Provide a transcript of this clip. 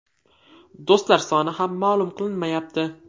Do‘stlar soni ham ma’lum qilinmayapti.